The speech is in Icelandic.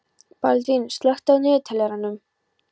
Baldvin, slökktu á niðurteljaranum.